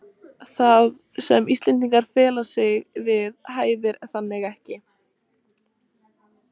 Það, sem Íslendingar fella sig við, hæfir þannig ekki